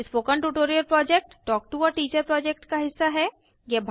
spoken tutorial project talk to a teacher project का हिस्सा है